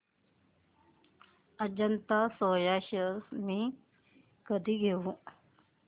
Ajanta Soya shares मी कधी घेऊ